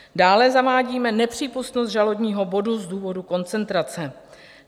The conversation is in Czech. Dále zavádíme nepřípustnost žalobního bodu z důvodu koncentrace.